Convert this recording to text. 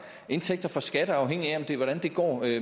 indtægter fra skatter afhængigt af hvordan det går